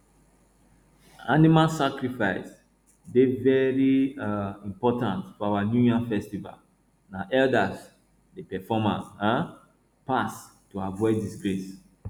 animal sacrifice dey very um important for our new yam festival na elders dey perform am um pass to avoid disgrace